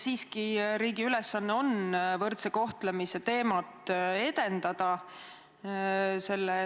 Siiski, riigi ülesanne on võrdse kohtlemise teemat edendada.